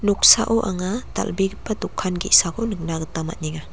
anga dal·begipa dokan ge·sako nikna gita man·enga.